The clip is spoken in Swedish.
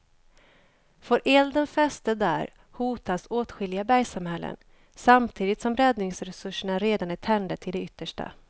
Får elden fäste där hotas åtskilliga bergssamhällen samtidigt som räddningsresurserna redan är tänjda till det yttersta.